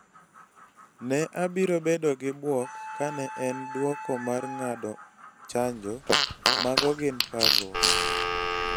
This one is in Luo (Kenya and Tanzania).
Ne abiro bedo gi bwok ka ne en duoko mar ng’ado chanjo....mago gin parruok.